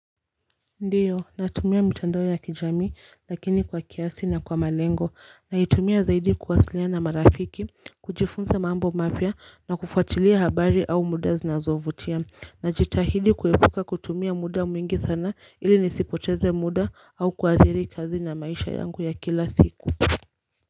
Ndiyo natumia mitandao ya kijami lakini kwa kiasi na kwa malengo naitumia zaidi kuwasiliana na marafiki kujifunza mambo mapya na kufuatilia habari au muda zinazovutia najitahidi kuepuka kutumia muda mwingi sana ili nisipoteze muda au kuathiri kazi na maisha yangu ya kila siku.